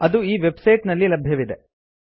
ಅದು ಈ website ನಲ್ಲಿ ಲಭ್ಯವಿದೆ